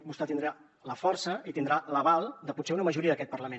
vostè tindrà la força i tindrà l’aval de potser una majoria d’aquest parlament